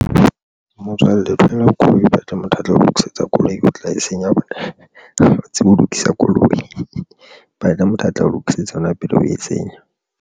Motswalle o thola koloi, o batle motho a tlo o lokisetsa koloi o tla e senya bona ba tsebe ho lokisa koloi batla motho a tla ho lokisetsa hona pele o etsetsa.